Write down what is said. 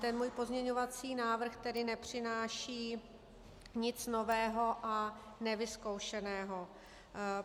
Ten můj pozměňovací návrh tedy nepřináší nic nového a nevyzkoušeného.